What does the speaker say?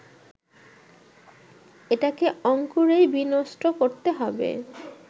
এটাকে অঙ্কুরেই বিনষ্ট করতে হবে